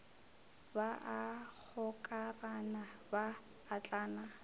ba a gokarana ba atlana